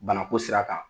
Banako sira kan